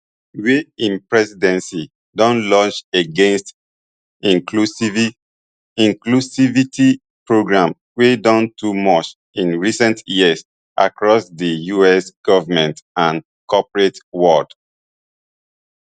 wey im presidency don launch against inclusivity programmes wey don too much in recent years across di us government and corporate world